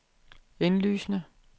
indlysende